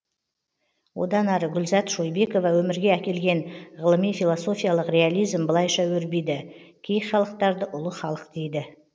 одан ары гүлзат шойбекова өмірге әкелген ғылыми философиялық реализм былайша өрбиді кей халықтарды ұлы халық дейді